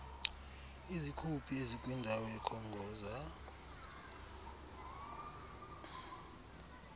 izikhuphi ezikwindawo ekhongoza